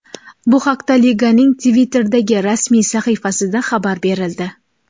Bu haqda liganing Twitter’dagi rasmiy sahifasida xabar berildi .